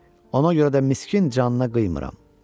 Ona görə də miskin canına qıymıram.